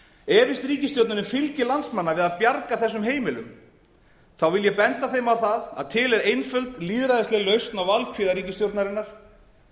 efist ríkisstjórnin um fylgi landsmanna við að bjarga þessum heimilum vil ég benda þeim á það að til er einföld lýðræðisleg lausn á valkvíða ríkisstjórnarinnar